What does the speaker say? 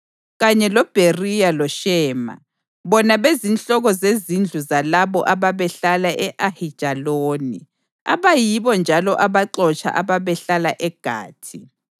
kanye loBheriya loShema, bona bezinhloko zezindlu zalabo ababehlala e-Ayijaloni abayibo njalo abaxotsha ababehlala eGathi.